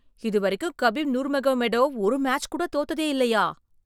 இதுவரைக்கும் Khabib Nurmagomedov ஒரு match கூட தோத்ததே இல்லையா!